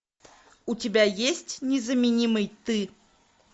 у тебя есть незаменимый ты